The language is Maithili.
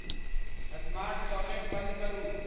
स्मार्ट सॉकेट बंद करु